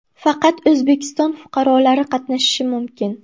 Faqat O‘zbekiston fuqarolari qatnashishi mumkin.